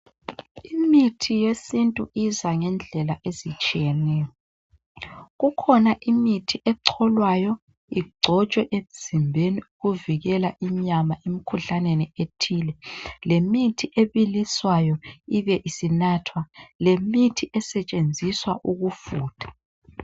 imithi yesintu iza ngendlela ezitshiyeneyo ikhona imithi ecolwayo icotshwe emzimbeni ukuvikela inyama emkhuhlaneni ethile lemithi ebiliswayo ibesinathwa lemithi esetshenziswa ukufutha